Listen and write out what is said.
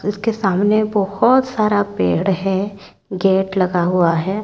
उसके सामने बहुत सारा पेड़ है गेट लगा हुआ है।